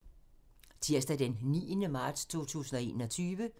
Tirsdag d. 9. marts 2021